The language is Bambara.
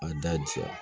A da jiya